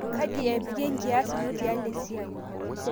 Kaji epik ekias ino tialo esiai?